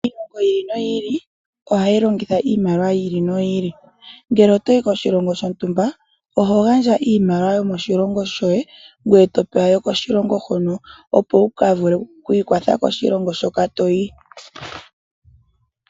Iilongo ohayi longitha iimaliwa yayoolokathana kiilongo iikwawo. Omuntu ngele otayi koshitunda shontumba oha gandja nee iimaliwa ye yokoshilongo she ye ta pewa nee iimaliwa mbyoka yomoshilongo shoka tayi opo a ka vule okwiikwatha nawo moshilongo shoka.